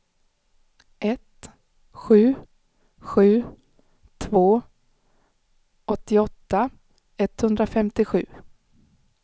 ett sju sju två åttioåtta etthundrafemtiosju